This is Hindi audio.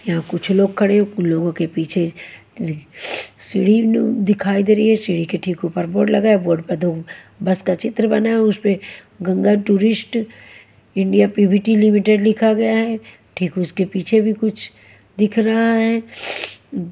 यहाँ कुछ लोग खड़े हो कुल लोगों के पीछे सीढ़ी नु दिखाई दे रही है सीढ़ी के ठीक ऊपर बोर्ड लगा है बोर्ड पर दो बस का चित्र बना है उस पे Ganga tourist India P V T limited लिखा गया है ठीक उसके पीछे भी कुछ दिख रहा है।